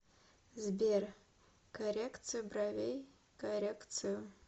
сбер коррекцию бровей коррекцию